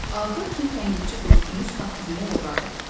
Axır ki, tənqidçi dostunuz saqqızımı oğurladı.